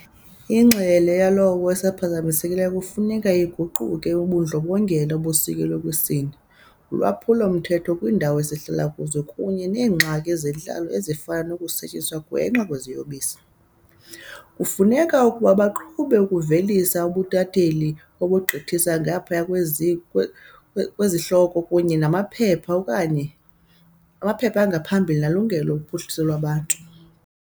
Ingxelo yawo engenasiphazamiso kufuneka iquke ubundlobongela obusekelwe kwisini, ulwaphulo-mthetho kwiindawo esihlala kuzo kunye neengxaki zentlalo ezifana nokusetyenziswa gwenxa kweziyobisi. Kufuneka ukuba baqhube ukuvelisa ubutatheli obugqithisa ngaphaya kwezihloko kunye namaphepha okanye angaphambili nolunegalelo kuphuhliso lwabantu.